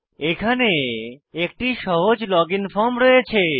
এখানে একটি সহজ লজিন ফর্ম রয়েছে